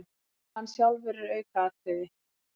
Hann sjálfur er aukaatriði.